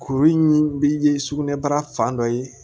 Kuru in bɛ ye sugunɛbara fan dɔ ye